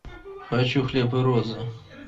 хочу хлеб и розы